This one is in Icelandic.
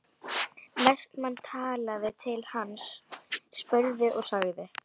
Vestmann talaði til hans, spurði og sagði